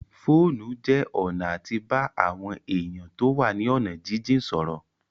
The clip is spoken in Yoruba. Fóònù jẹ́ ọ̀nà àti bá àwọn èèyàn tó wà ní ọ̀nà jínjìn sọ̀rọ̀